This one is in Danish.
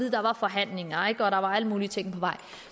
at der var forhandlinger og at der var alle mulige ting på vej